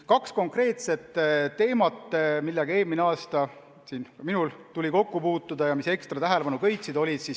On kaks konkreetset teemat, millega minul tuli eelmine aasta kokku puutuda ja mis ekstra tähelepanu köitsid.